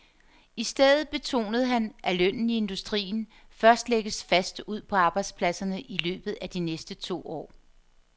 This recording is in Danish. I stedet betonede han, at lønnen i industrien først lægges fast ude på arbejdspladserne i løbet af de næste to år.